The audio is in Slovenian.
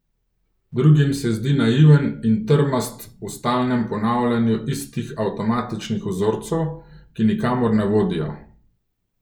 Drugim se zdi naiven in trmast v stalnem ponavljanju istih avtomatičnih vzorcev, ki nikamor ne vodijo.